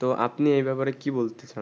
তো আপনি এই ব্যাপারে কি বলতেচান